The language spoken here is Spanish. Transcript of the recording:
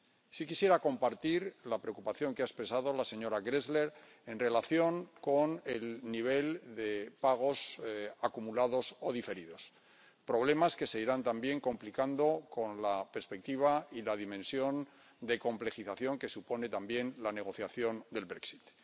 Sí quisiera compartir la preocupación que ha expresado la señora Grässle en relación con el nivel de pagos acumulados o diferidos, problemas que se irán también complicando con la perspectiva y la dimensión de complejización que supone también la negociación del Brexit